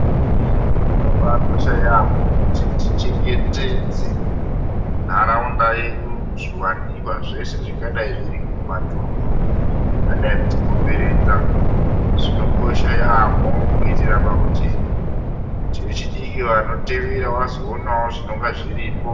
Zvakabakosha yamho kuti tichengetedze nharaunda yedu, zviwanikwa zveshe zvingadai zviri mumatundu akadai kutikomberedza zvinokosha yamho kuitira pakuti vechidiki vanotevera vazoonawo zvinonga zviripo.